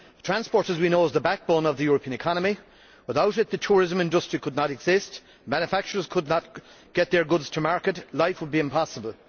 As we know, transport is the backbone of the European economy. Without it the tourism industry could not exist, manufacturers could not get their goods to market and life would be impossible.